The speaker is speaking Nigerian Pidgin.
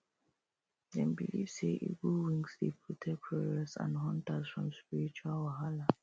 dem believe say eagle wings dey protect warriors and hunters from spiritual wahalah